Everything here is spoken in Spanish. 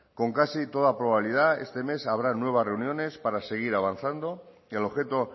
con casi toda probabilidad este mes habrá nuevas reuniones para seguir avanzando el objeto